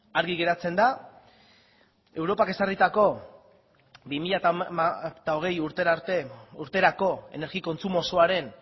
argi geratzen da europak ezarritako bi mila hogei urterako energi kontsumo osoaren